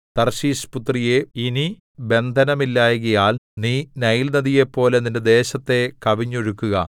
Tarshish പുത്രിയേ ഇനി ബന്ധനമില്ലായ്കയാൽ നീ നൈൽനദിപോലെ നിന്റെ ദേശത്തെ കവിഞ്ഞൊഴുകുക